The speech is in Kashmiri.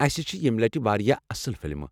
اسہِ چھِ یمہِ لٹہِ واریاہ اصٕل فلمہٕ۔